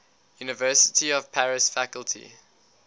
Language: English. university of paris faculty